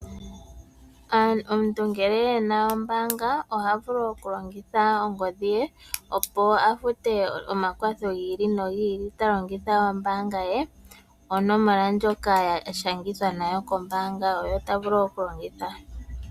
Omuntu ngele ena ombanga oha vulu okulongitha ongodhiye opo afute omakwatho giili nogiili talongitha ombaanga ye nonomola ndjoka ashangitha nayo kombaanga oyo tavulu okulongitha.